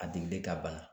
A digili ka bana